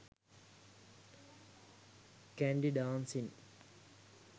kandy dancing